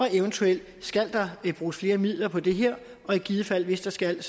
eventuelt skal bruges flere midler på det her i givet fald hvis der skal